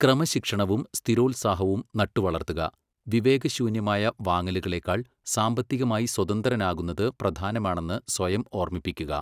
ക്രമശിക്ഷണവും സ്ഥിരോത്സാഹവും നട്ടുവളർത്തുക, വിവേകശൂന്യമായ വാങ്ങലുകളെക്കാൾ സാമ്പത്തികമായി സ്വതന്ത്രനാകുന്നത് പ്രധാനമാണെന്ന് സ്വയം ഓർമ്മിപ്പിക്കുക.